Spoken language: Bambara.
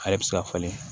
Ale bɛ se ka falen